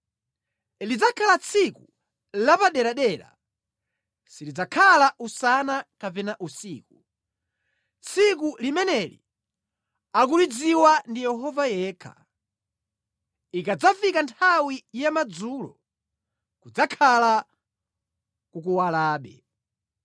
Lidzakhala tsiku lapaderadera, silidzakhala usana kapena usiku; tsiku limeneli akulidziwa ndi Yehova yekha. Ikadzafika nthawi ya madzulo, kudzakhala kukuwalabe.